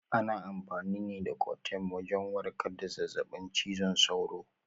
Ana amfani da coartem wajen warkar da zazzaɓin cizon sauro.